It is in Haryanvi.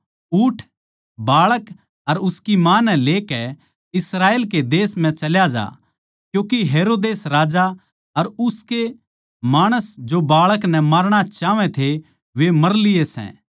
उठ बाळक अर उसकी माँ नै लेकै इस्राएल कै देश म्ह चल्या ज्या क्यूँके हेरोदेस राजा अर उसके माणस जो बाळक नै मारणा चाहवै थे वे मर लिये सै